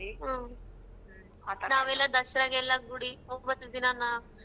ಹ್ಮ್ ದಸರಾಗೆಲ್ಲಾ ಗುಡಿ ಒಂಬತ್ ದಿನ ನ.